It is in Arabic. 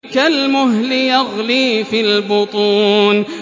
كَالْمُهْلِ يَغْلِي فِي الْبُطُونِ